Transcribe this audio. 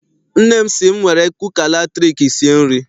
Nne m sị m were kuka latriki sie nri.